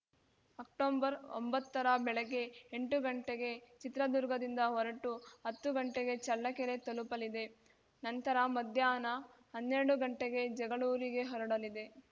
ಅಕ್ಟೊಂಬರ್ಒಂಬತ್ತರ ಬೆಳಗ್ಗೆ ಎಂಟುಗಂಟೆಗೆ ಚಿತ್ರದುರ್ಗದಿಂದ ಹೊರಟು ಹತ್ತು ಗಂಟೆಗೆ ಚಳ್ಳಕೆರೆ ತಲುಪಲಿದೆ ನಂತರ ಮಧ್ಯಾಹ್ನ ಹನ್ನೆರಡು ಗಂಟೆಗೆ ಜಗಳೂರಿಗೆ ಹೊರಡಲಿದೆ